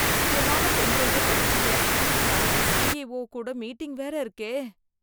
முக்கியமான பெண்டிரைவ தொலைச்சிட்டேன், நாளைக்கு சிஇஓ கூட மீட்டிங் வேற இருக்கே.